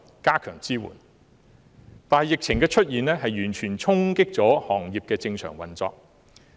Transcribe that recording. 但是，疫情的出現完全衝擊了行業的正常運作。